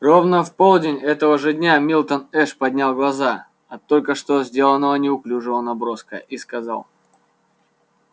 ровно в полдень этого же дня милтон эш поднял глаза от только что сделанного неуклюжего наброска и сказал